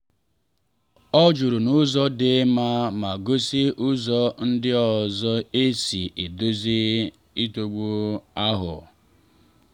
ọ jụrụ n’ụzọ dị mma ma gosi ụzọ ndị ọzọ e si edozi nsogbu ahụ.